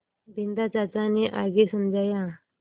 बिन्दा चाचा ने आगे समझाया